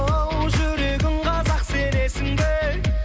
оу жүрегім қазақ сенесің бе